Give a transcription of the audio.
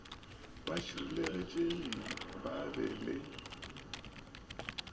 ba šireletšegile ba be le